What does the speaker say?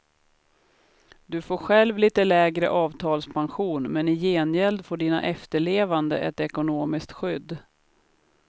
Du får själv lite lägre avtalspension, men i gengäld får dina efterlevande ett ekonomiskt skydd.